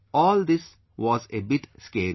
All this was a bit scary